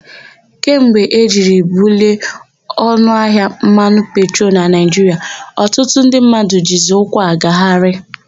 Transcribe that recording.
Kemgbe e jiri bulie ọnụahịa mmanụ petrolu na Naịjiria, ọtụtụ ndị mmadụ jizi ụkwụ agagharị.